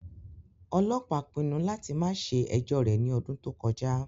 Ọlọpa pinnu lati ma ṣe ẹjọ rẹ ni ọdun to kọja